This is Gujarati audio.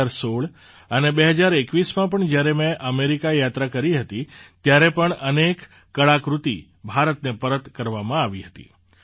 ૨૦૧૬ અને ૨૦૨૧માં પણ જ્યારે મેં અમેરિકા યાત્રા કરી હતી ત્યારે પણ અનેક કળાકૃતિ ભારતને પરત કરવામાં આવી હતી